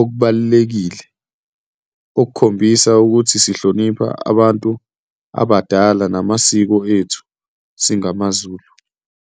okubalulekile okukhombisa ukuthi sihlonipha abantu abadala namasiko ethu singamaZulu.